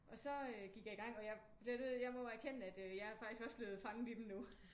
Og så gik jeg i gang og jeg må erkende at jeg er faktisk også blevet fanget i dem nu